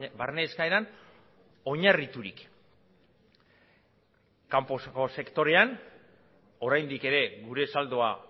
barne eskaeran oinarriturik kanpoko sektorean oraindik ere gure saldoa